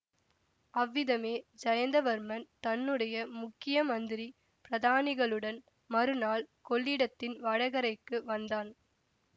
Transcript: அவ்விதமே ஜயந்தவர்மன் தன்னுடைய முக்கிய மந்திரி பிரதானிகளுடன் மறுநாள் கொள்ளிடத்தின் வடகரைக்கு வந்தான்